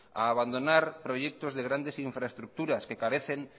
a abandonar proyectos de grandes infraestructuras que carecen